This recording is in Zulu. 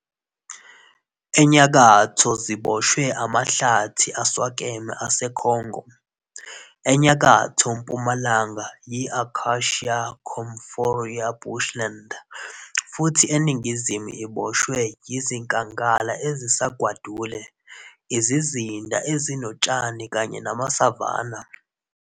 Enyakatho ziboshwe amahlathi aswakeme aseKhongo, enyakatho-mpumalanga yi-Acacia-Commiphora bushland, futhi eningizimu iboshwe yizinkangala ezisagwadule, izizinda ezinotshani kanye namasavanna.